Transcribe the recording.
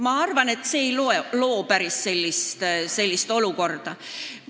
Ma arvan, et see ei too kaasa päris sellist olukorda.